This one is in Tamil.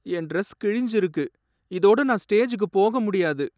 என் டிரஸ் கிழிஞ்சிருக்கு, இதோட நான் ஸ்டேஜுக்கு போக முடியாது.